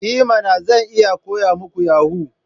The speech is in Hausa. I mana! Zan iya koya muku yahoo.